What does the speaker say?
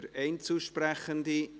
– Niemand meldet sich.